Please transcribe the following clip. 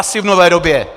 Asi v nové době!